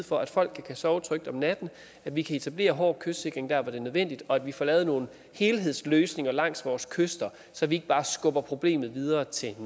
for at folk kan sove trygt om natten at vi kan etablere hård kystsikring der hvor det er nødvendigt og at vi får lavet nogle helhedsløsninger langs vores kyster så vi ikke bare skubber problemet videre til